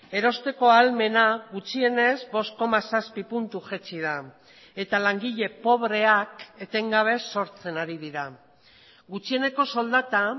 erosteko ahalmena gutxienez bost koma zazpi puntu jaitsi da eta langile pobreak etengabe sortzen ari dira gutxieneko soldata